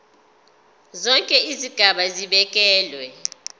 zonke izigaba zibekelwe